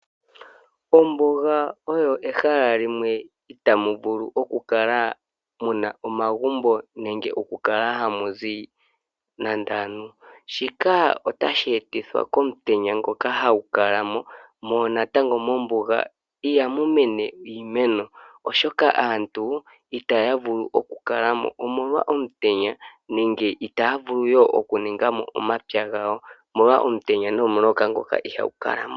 Ombuga oo ehala limwe ita mu vulu oku kala muna omagumbo nenge okukala hamu zi nande aantu . Shika otashi etithwa komutenya ngoka hagu kala mo . Mombuga ihamu meni iimeno, oshoka aantu itaya vulu okukala mo omolwa omutenya nenge itaya vulu okuninga mo omapya gawo omolwa omutenya nomuloka ngoka iha gu kala mo.